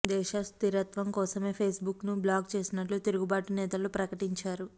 దేశ స్థిరత్వం కోసమే ఫేస్బుక్ను బ్లాక్ చేసినట్లు తిరుగుబాటు నేతలు ప్రకటించారు